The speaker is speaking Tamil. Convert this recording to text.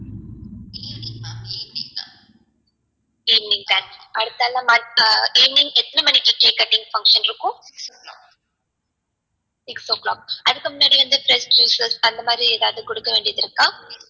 evening time evening எத்தன மணிக்கு cake cutting function இருக்கும் six o clock அதுக்கு முன்னாடி வந்து fresh juices அந்த மாதிரி எதாவது குடுக்க வேண்டியது இருக்கா